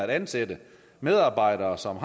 ansætte medarbejdere som